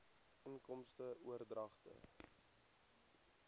inkomste oordragte